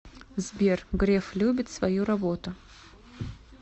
сбер греф любит свою работу